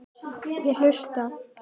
Ég hlusta.